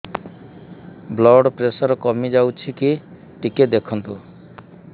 blood pressure କମି ଯାଉଛି କି ଟିକେ ଦେଖନ୍ତୁ